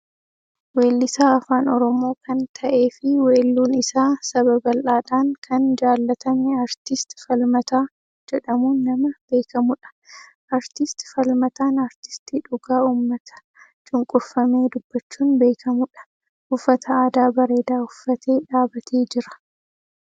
weellisaa afaan Oromoo an ta'ee fi weelluun isaa saba bal'aadhaan an jaalatame aartist Falmataa jedhamuun nama beeamudha . aartist Falmataan aartistii dhugaa uummata cunqurfamee dubbachuun beekamudha. uffata aadaa bareedaa uffatee dhaabbatee jira.